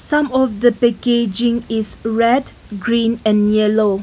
some of the packaging is red green and yellow.